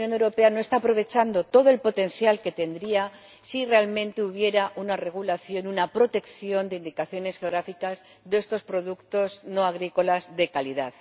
Creo que la Unión Europea no está aprovechando todo el potencial que tendría si realmente existiera una regulación, una protección de indicaciones geográficas de estos productos no agrícolas de calidad.